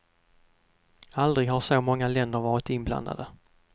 Aldrig har så många länder varit inblandade.